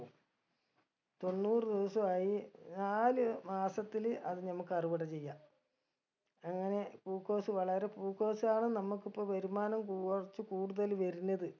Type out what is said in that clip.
തൊണ്ണൂറ് ദിവസ ആയി നാല് മാസത്തില് അത് നമ്മക്ക് അറിവിട ചെയ്യാ അങ്ങനെ പൂക്കോസ് വളരെ പൂക്കോസ് ആണ് നമ്മക്ക് ഇപ്പൊ വരുമാനം കുറച്ച് കൂടുതല് വരുന്നത്